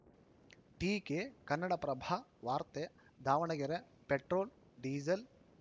ಟೀಕೆ ಕನ್ನಡಪ್ರಭ ವಾರ್ತೆ Davanagere petrol diesel